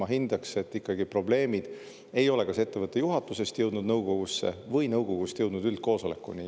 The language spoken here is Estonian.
Ma hindaks, et ikkagi probleemid ei ole kas ettevõtte juhatusest jõudnud nõukogusse või nõukogust üldkoosolekuni.